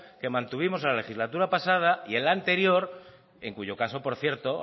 que mantuvimos en la legislatura pasada y en la anterior en cuyo caso por cierto